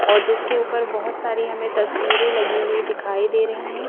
और जिसके ऊपर बहुत सारी हमें तस्वीरें लगी हुई दिखाई दे रही हैं।